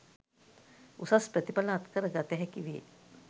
උසස් ප්‍රතිඵල අත්කර ගත හැකි වේ